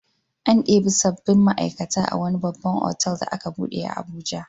An ɗebi sabbin ma'aikata a wani babban otal da aka buɗe a Abuja.